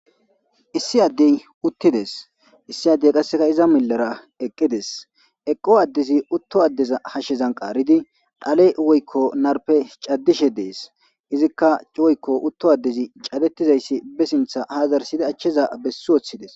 Issi addey uttides issi addey qasseka iza millera eqqides eqqo addezi utto addeza hashshezan qaaridi dhale woykko narpe caddishe dees izikka cuwoykko utto addezi cadettizayssi be sintha ha zarsidi achchiza bessi woththides.